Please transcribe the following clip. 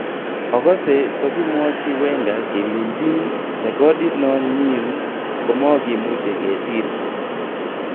Okose tokimwochi Wenger kelenchi rekodit non nyin komokimuche kesir.